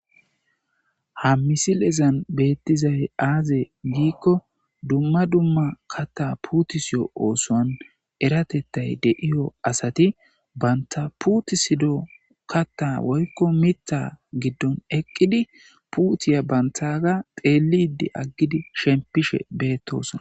Ha misilezan beettizay aaze giikko dumma dumma kaatta puutisiyo oosuwan eratettay de'iyo asati banta puutisido katta woykko mitta giddon eqqidi puutiya banttaga xeellidi aggidi shemppishe beettosona.